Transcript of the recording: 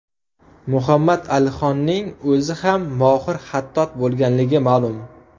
Muhammad Alixonning o‘zi ham mohir xattot bo‘lganligi ma’lum.